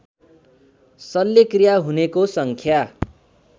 शल्यक्रिया हुनेको सङ्ख्या